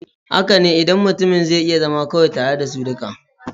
Haka ne, idan mutumin zai iya zama kawai tare da su duka.